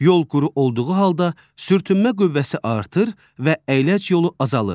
Yol quru olduğu halda sürtünmə qüvvəsi artır və əyləc yolu azalır.